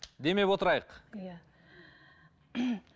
демеп отырайық иә